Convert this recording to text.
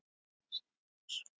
sagði hún svo.